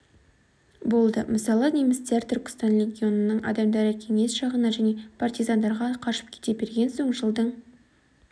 болды мысалы немістер түркістан легионының адамдары кеңес жағына және партизандарға қашып кете берген соң жылдың